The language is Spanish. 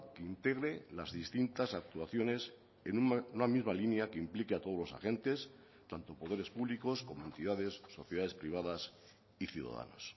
que integre las distintas actuaciones en una misma línea que implique a todos los agentes tanto poderes públicos como entidades sociedades privadas y ciudadanos